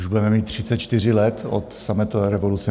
Už budeme mít 34 let od sametové revoluce.